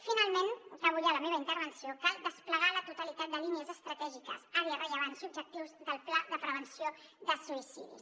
finalment acabo ja la meva intervenció cal desplegar la totalitat de línies estratègiques àrees rellevants i objectius del pla de prevenció de suïcidis